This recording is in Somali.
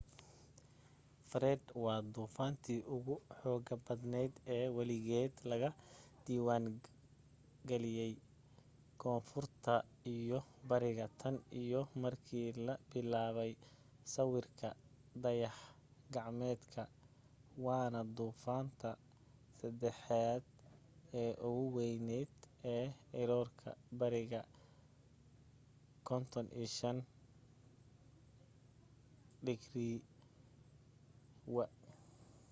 fred waa duufaantii ugu xooga badneyd ee weligeed laga diiwaamiyay koonfurta iyo bariga tan iyo markii la bilaabay sawirka dayax gacmeedka waana duufaanta saddexaad ee ugu weyneyd ee riroorka bariga 35°w